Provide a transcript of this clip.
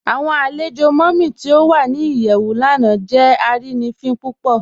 Awọn alẹ̀jọ Mummy ti o wà ní iyẹwù lánà jẹ arínifin púpọ̀.